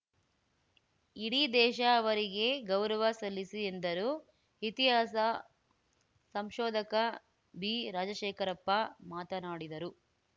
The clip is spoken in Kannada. ಇಡೀ ದೇಶ ಅವರಿಗೆ ಗೌರವ ಸಲ್ಲಿಸಿ ಎಂದರು ಇತಿಹಾಸ ಸಂಶೋಧಕ ಬಿರಾಜಶೇಖರಪ್ಪ ಮಾತನಾಡಿದರು